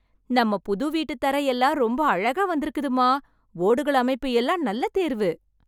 நம்ம புது வீட்டுத் தரை எல்லாம் ரொம்ப அழகா வந்துருக்குதும்மா. ஓடுகள் அமைப்பு எல்லாம் நல்ல தேர்வு.